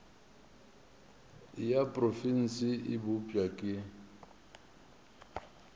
ya profense e bopša ke